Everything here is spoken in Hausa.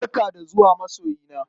Barka da zuwa masoyina!